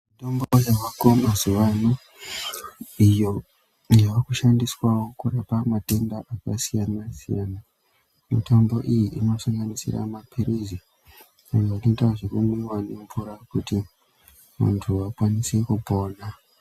Mitombo dzoonekwa mazuwaano iyo yakushandiswawo kurapa matenda yakasiyana siyana mitombo iyi inosanganisira mapirizi amwe anoita zvekumwiwa ngemvura kuti muntu akasire kupona.